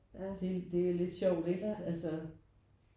Det er lidt sjovt ikke altså